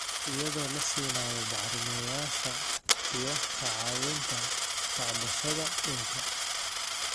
iyadoo la siinayo bacrimiyeyaasha iyo ka caawinta tacbashada dhulka.